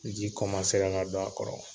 Ji kɔmasera ka don a kɔrɔ